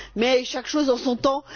mais chaque chose en son temps.